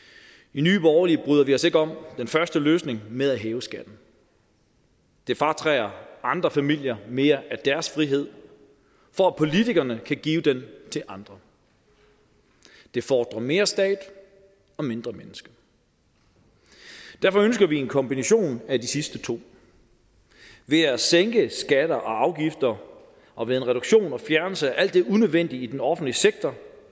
i nye borgerlige bryder vi os ikke om den første løsning med at hæve skatten det fratager andre familier mere af deres frihed for at politikerne kan give den til andre det fordrer mere stat og mindre menneske derfor ønsker vi en kombination af de sidste to ved at sænke skatter og afgifter og ved en reduktion og fjernelse af alt det unødvendige i den offentlige sektor